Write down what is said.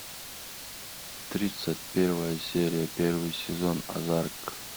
тридцать первая серия первый сезон озарк